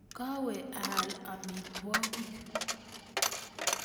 Kawe aal amitwokik